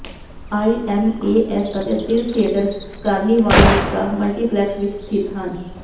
IMAS ਅਤੇ Thrill Theatre Carnival Vista multiplex ਵਿਚ ਸਥਿਤ ਹਨ